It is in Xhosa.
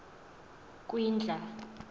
kwindla